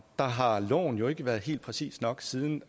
der har loven jo ikke været helt præcis nok siden